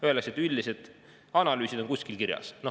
Öeldakse, et üldised analüüsid on kuskil kirjas.